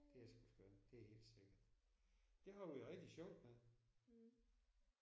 Det er sgu skønt det er helt sikkert. Det har vi det rigtig sjovt med